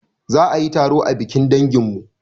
Za ayi taro a bikin danginmu